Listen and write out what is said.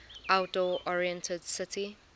outdoor oriented city